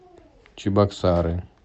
чебоксары